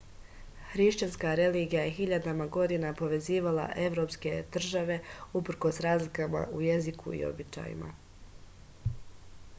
hrišćanska religija je hiljadama godina povezivala evropske tržave uprkos razlikama u jeziku i običajima